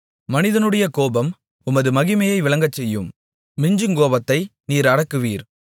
மனிதனுடைய கோபம் உமது மகிமையை விளங்கச்செய்யும் மிஞ்சுங்கோபத்தை நீர் அடக்குவீர்